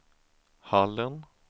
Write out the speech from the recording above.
Hallen